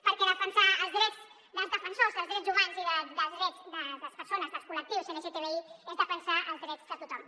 perquè defensar els drets dels defensors dels drets humans i dels drets de les persones i dels col·lectius lgtbi és defensar els drets de tothom